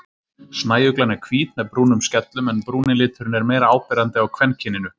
Snæuglan er hvít með brúnum skellum en brúni liturinn er meira áberandi á kvenkyninu.